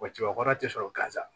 Wa cɛbakɔrɔ tɛ sɔrɔ gaziwa